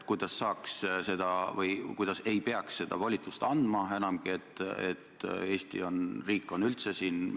Ma palun ka stenogrammist see tsitaat igal juhul eemaldada, mina pole rääkinud riigireetmisest.